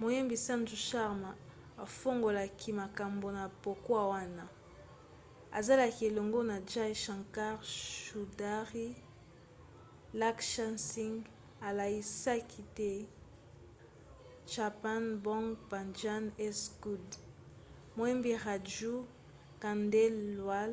moyembi sanju sharma afungolaki makambo na pokwa wana azalaki elongo na jai shankar choudhary. laksha singh alaisaki t chappan bhog bhajan s good. moyembi raju khandelwal